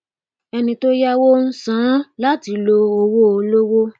ẹni tó yáwó ń san án láti lo owó olówó